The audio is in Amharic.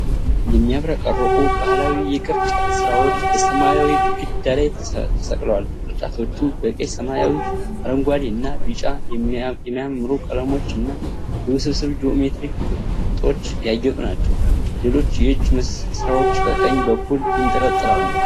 የሚያብረቀርቁ ባህላዊ የቅርጫት ሥራዎች በሰማያዊ ግድግዳ ላይ ተሰቅለዋል። ቅርጫቶቹ በቀይ፣ ሰማያዊ፣ አረንጓዴ እና ቢጫ የሚያማምሩ ቀለሞች እና በውስብስብ ጂኦሜትሪክ ቅጦች ያጌጡ ናቸው። ሌሎች የእጅ ሥራዎች ከቀኝ በኩል ይንጠለጠላሉ።